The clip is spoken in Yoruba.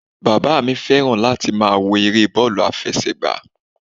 Bàbá mi fẹ́ràn láti máa wo eré bọ́ọ̀lù àfẹsẹ̀gbá